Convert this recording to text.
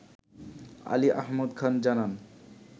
আলী আহমদ খান জানান